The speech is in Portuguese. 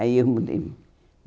Aí eu mudei.